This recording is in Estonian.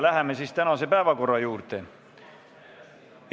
Läheme tänaste päevakorrapunktide juurde.